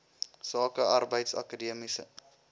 sake arbeids akademiese